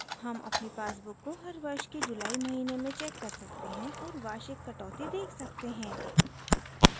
हम अपनी पासबुक को हर वर्ष के जुलाई महीने में चेक कर सकते हैं और वार्षिक कटौती देख सकते हैं